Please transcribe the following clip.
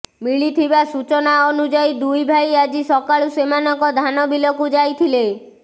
ମିଳିଥିବା ସୂଚନା ଅନୁଯାୟୀ ଦୁଇ ଭାଇ ଆଜି ସକାଳୁ ସେମାନଙ୍କ ଧାନବିଲକୁ ଯାଇଥିଲେ